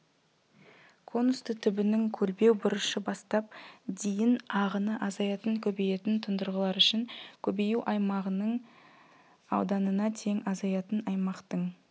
конусты түбінің көлбеу бұрышы бастап дейін ағыны азаятын-көбейетін тұндырғылар үшін көбею аймағаның ауданына тең азаятын аймақтың